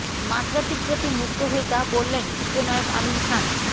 মাশরাফির প্রতি মুগ্ধ হয়ে যা বললেন চিত্রনায়ক আমিন খান